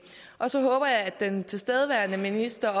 og så håber jeg at den tilstedeværende minister